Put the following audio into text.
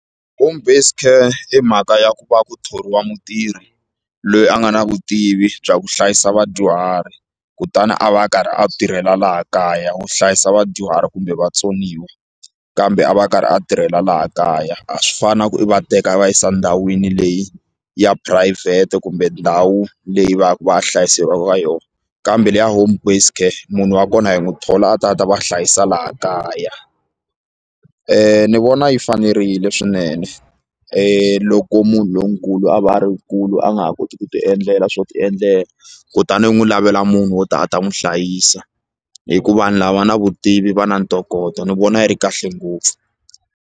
Home based care i mhaka ya ku va ku thoriwa mutirhi loyi a nga na vutivi bya ku hlayisa vadyuhari kutani a va a karhi a tirhela laha kaya wo hlayisa vadyuhari kumbe vatsoniwa kambe a va a karhi a tirhela laha kaya a swi fani na ku i va teka va yisa endhawini leyi ya phurayivhete kumbe ndhawu leyi va ya ku va hlayiseriwa eka yona kambe leyi ya home based care munhu wa kona hi n'wi thola a ta a ta va hlayisa laha kaya ni vona yi fanerile swinene loko munhu lonkulu a va a ri nkulu a nga ha koti ku ti endlela swo ti endlela kutani u n'wi lavela munhu wo ta a ta n'wi hlayisa hi ku vanhu lava na vutivi va na ntokoto ni vona yi ri kahle ngopfu.